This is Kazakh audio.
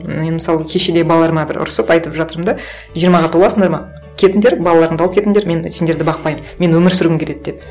мен мысалы кеше де балаларыма бір ұрсып айтып жатырмын да жиырмаға толасыңдар ма кетіңдер балаларыңды алып кетіңдер мен сендерді бақпаймын мен өмір сүргім келеді деп